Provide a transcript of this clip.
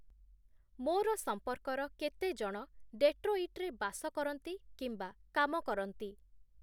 ମୋର ସମ୍ପର୍କର କେତେ ଜଣ ଡେଟ୍ରୋଇଟ୍ ରେ ବାସ କରନ୍ତି କିମ୍ବା କାମ କରନ୍ତି ?